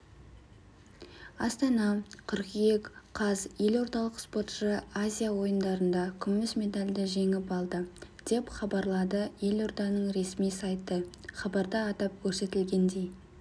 астана қыркүйек қаз елордалық спортшы азия ойындарында күміс медальді жеңіп алды деп хабарлады елорданың ресми сайты хабарда атап көрсетілгендей